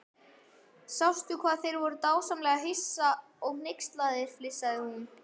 Sástu hvað þeir voru dásamlega hissa og hneykslaðir flissaði hún.